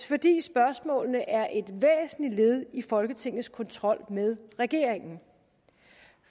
fordi spørgsmålene er et væsentligt led i folketingets kontrol med regeringen